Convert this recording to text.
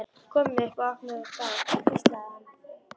Komum upp og opnum það þar hvíslaði hann.